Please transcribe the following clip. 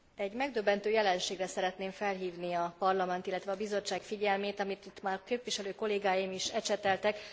Egy megdöbbentő jelenségre szeretném felhívni a Parlament, illetve a Bizottság figyelmét, amit itt már képviselő kollégáim is ecseteltek.